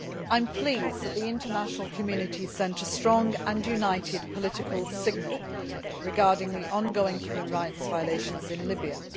I am pleased that the international community sent a strong and united political signal regarding the ongoing human rights violations in Libya.